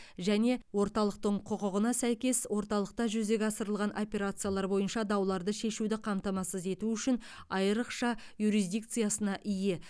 және орталықтың құқығына сәйкес орталықта жүзеге асырылған операциялар бойынша дауларды шешуді қамтамасыз ету үшін айрықша юрисдикциясына ие